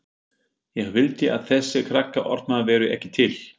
Ég vildi að þessir krakkaormar væru ekki til.